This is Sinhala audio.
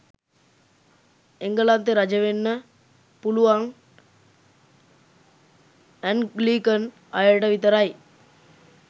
එංගලන්තෙ රජ වෙන්න පුළුවන් ඇංග්ලිකන් අයට විතරයි